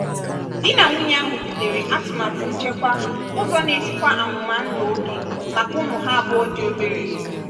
di na nwunye ahụ butere atụmatụ nchekwa ụzọ na-echekwa amụma ndụ oge maka ụmụ ha abụọ dị obere.